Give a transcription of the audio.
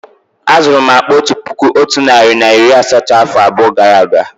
Á zuru m akpá otu puku otu narị na iri asatọ afọ abụọ gara aga